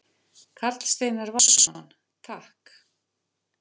Karl Steinar Valsson: Takk.